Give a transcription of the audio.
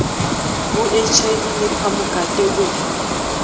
ho hiv le phamokate o